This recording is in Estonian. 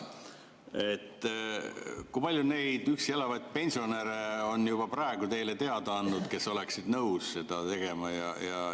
Olete te arutanud ka, kui palju neid üksi elavaid pensionäre on juba praegu teile endast teada andnud, kes oleksid nõus seda tegema?